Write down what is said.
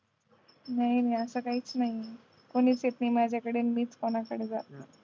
नाय असं काहीच नाही कोणीच येत नाही माझ्याकडे मीच कोणाकडे जात नाही